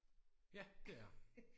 Ja det er der